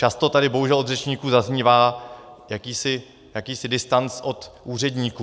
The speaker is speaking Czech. Často tady bohužel od řečníků zaznívá jakýsi distanc od úředníků.